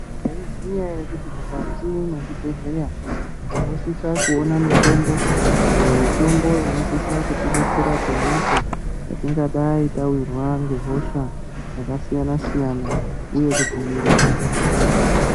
Maiziya here kuti mukati mwezvibhedhleya tinosisa kuona mitombo, iyo mitombo inosisa kutidetsera apo naapo petingadai tawirwa ngehosha yakasiyana-siyana uye kudzivirira hosha.